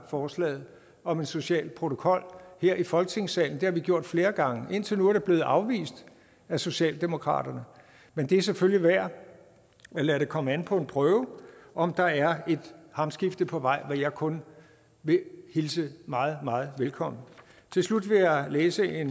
forslaget om en social protokol her i folketingssalen det har vi gjort flere gange og indtil nu er det blevet afvist af socialdemokratiet men det er selvfølgelig værd at lade det komme an på en prøve om der er et hamskifte på vej hvad jeg kun vil hilse meget meget velkommen til slut vil jeg læse et